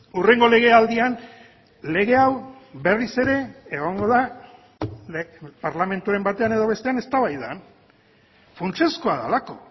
hurrengo legealdian lege hau berriz ere egongo da parlamenturen batean edo bestean eztabaidan funtsezkoa delako